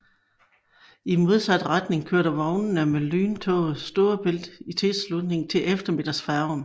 I modsat retning kørte vognene med lyntoget Storebælt i tilslutning til eftermiddagsfærgen